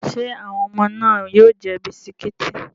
Ṣé àwọn ọmọ náà yóò jẹ bisikíìtì?